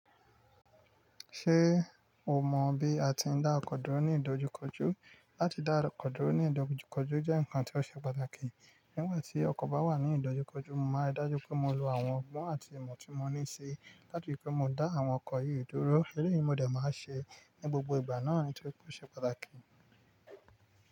Ṣé o mọ bí a ti ń dá ọkọ dúró ní ìdojúkọjú? Láti dá ọkọ dúró ní ìdojúkọjú jẹ́ nǹkan tó ṣe pàtàkì. Nígbà tí ọkọ̀ bá wà ní ìdojúkọjú, mo máa rí dájú pé mo lo àwọn ọgbọ́n àti imọ̀ tí mo ní ì si láti ri pé mo dá àwọn ọkọ̀ yìí dúró. Èléyìí ni mo dẹ̀ máa ṣe ní gbogbo ìgbà náà nitóri pé o ṣe pàtàkì.